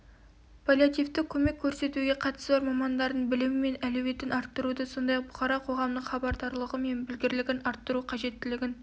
паллиативтік көмек көрсетуге қатысы бар мамандардың білімі мен әлеуетін арттыруды сондай-ақ бұқара қоғамның хабардарлығы мен білгірлігін арттыру қажеттілігін